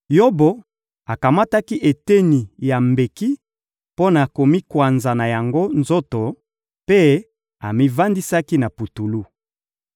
Yobo akamataki eteni ya mbeki mpo na komikwanza na yango nzoto, mpe amivandisaki na putulu.